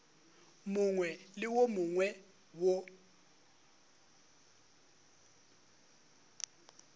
mongwe le wo mongwe wo